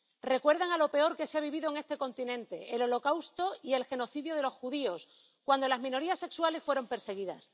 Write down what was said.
Recuerdan a lo peor que se ha vivido en este continente el Holocausto y el genocidio de los judíos, cuando las minorías sexuales fueron perseguidas.